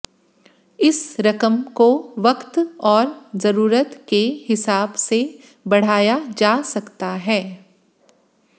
इस रकम को वक्त और जरूरत के हिसाब से बढ़ाया जा सकता है